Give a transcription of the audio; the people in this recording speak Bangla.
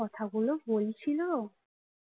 কথাগুলো বলছিল